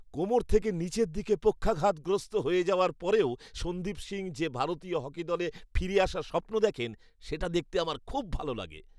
কোমর থেকে নিচের দিকে পক্ষাঘাতগ্রস্ত হয়ে যাওয়ার পরেও সন্দীপ সিং যে ভারতীয় হকি দলে ফিরে আসার স্বপ্ন দেখেন সেটা দেখতে আমার খুব ভালো লাগে।